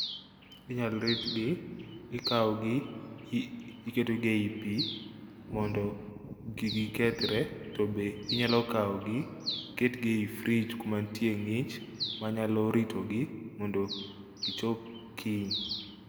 Inyal ritgi ikawgi iketogi e i pi mondo kik gikethre to be inyalo kawogi iketgi e i frij kuma nitie ng'ich manyalo ritogi mondo gichop kiny.